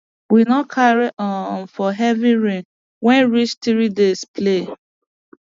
we no carry um for heavy rain wey reach three days play